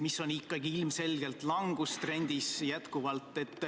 Üldiselt on need ikkagi ilmselgelt langustrendis.